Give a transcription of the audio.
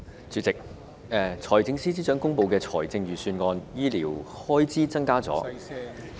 主席，在財政司司長公布的財政預算案中，醫療開支增加了......